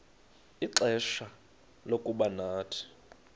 ixfsha lokuba nathi